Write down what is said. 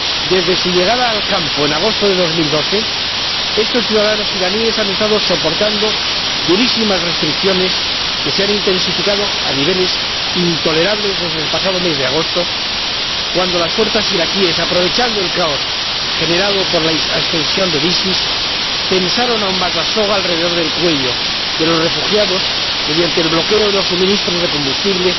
Desde su llegada al campo, en agosto de 2012, estos ciudadanos iraníes han estado soportando durísimas restricciones, que se han intensificado a niveles intolerables desde el pasado mes de agosto, cuando las fuerzas iraquíes, aprovechando el caos generado por la ascensión del Estado Islámico, tensaron aún más la soga alrededor del cuello de los refugiados, mediante el bloqueo de los suministros de combustible,